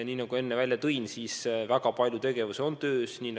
Nagu ma enne välja tõin, väga palju tegevusi on käsil.